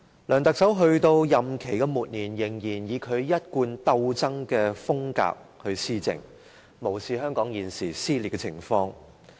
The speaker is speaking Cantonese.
梁特首在其任期末年，仍然以其一貫鬥爭風格施政，無視香港現時的撕裂情況。